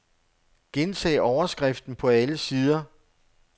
Gentag overskriften på alle sider.